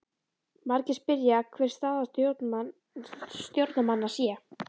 Margir spyrja hver staða stjórnarmanna sé?